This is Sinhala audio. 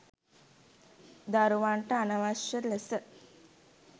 දරුවන්ට අනවශ්‍ය ලෙස